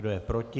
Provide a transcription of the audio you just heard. Kdo je proti?